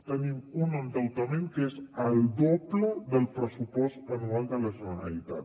tenim un endeutament que és el doble del pressupost anual de la generalitat